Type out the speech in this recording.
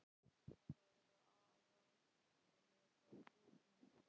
Brynja: Það eru aðallega útlendingarnir?